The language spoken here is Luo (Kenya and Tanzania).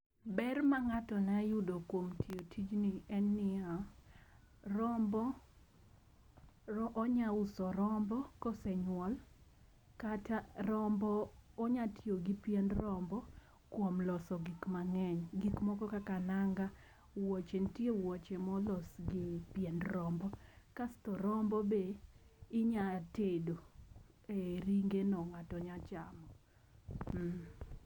Ber ma ng'ato nya yudi kuom tiyo tijni en niya : rombo onya uso rombo kosenyuol kata onya tiyo gi pien rombo kuom loso gik mang'eny. Gik moko kaka nanga, wuoche ntie wuoche molos gi pien rombo kasto rombo be inya tedo ee ringe no ng'ato nya chamo.